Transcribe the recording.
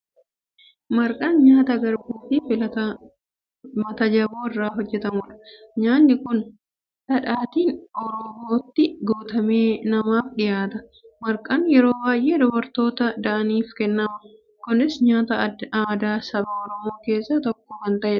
Marqaan nyaata garbuu fi matajaboo irraa hojjetamudha. Nyaatni kun dhadhaatiin oroobootti guutamee namaaf dhiyaata. Marqaan yeroo baay'ee dubartoota da'aniif kennama. Kunis nyaata aadaa saba Oromoo keessaa tokko kan ta'e dha.